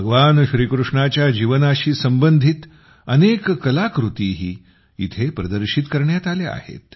भगवान श्रीकृष्णाच्या जीवनाशी संबंधित अनेक कलाकृतीही येथे प्रदर्शित करण्यात आल्या आहेत